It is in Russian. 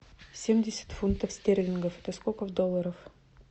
семьдесят фунтов стерлингов это сколько в долларах